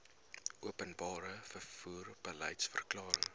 openbare vervoer beliedsverklaring